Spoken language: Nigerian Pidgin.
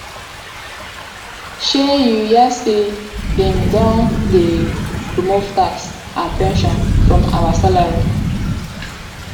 shey you hear say dem don dey remove tax and pension from our salary